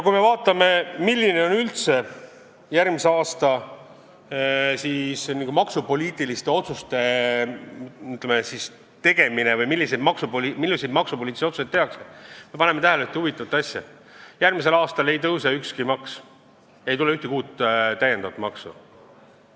Kui me vaatame, milliseid maksupoliitilisi otsuseid üldse järgmiseks aastaks tehakse, siis me paneme tähele ühte huvitavat asja: tuleval aastal ei tõuse ükski maks ega ei tule ühtegi uut maksu.